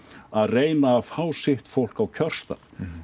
að reyna að fá sitt fólk á kjörstað